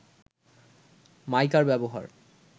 মাইকার ব্যবহার